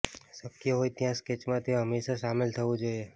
શક્ય હોય ત્યાં સ્કેચમાં તે હંમેશા શામેલ થવું જોઈએ